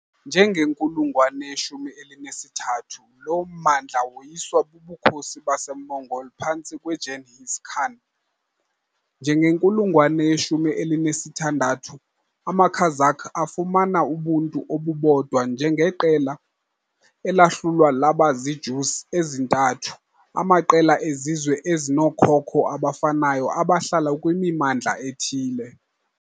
Njegenkulungwane ye-13 lo mmandla woyiswa buBukhosi baseMongol phantsi kweGenghis Khan. Njegenkulungwane ye-16, amaKazakh afumana ubuntu obubodwa njengeqela, elahlulwa laba ziijüz ezintathu, amaqela ezizwe ezinookhokho abafanayo abahlala kwimimandla ethile.